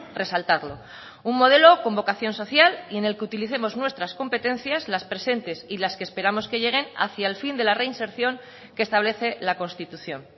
resaltarlo un modelo con vocación social y en el que utilicemos nuestras competencias las presentes y las que esperamos que lleguen hacia el fin de la reinserción que establece la constitución